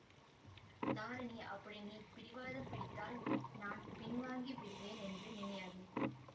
தாரிணி அப்படி நீ பிடிவாதம் பிடித்தால் நான் பின்வாங்கி விடுவேன் என்று நினையாதே